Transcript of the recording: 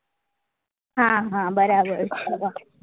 હા હા બરાબર છે હવ